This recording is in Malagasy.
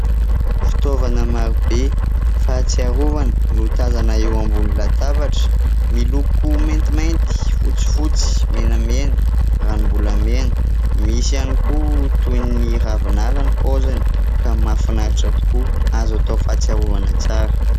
Fitaovana marobe fahatsiarovana no tazana eo ambon'ny latabatra miloko maintimainty, fotsifotsy, menamena, ranombolamena. Misy ihany koa toy ny ravin'ala ny paoziny ka mahafinahitra tokoa azo atao fahatsiarovana tsara.